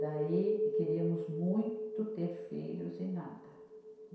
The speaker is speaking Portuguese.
Daí, queríamos muito ter filhos e nada.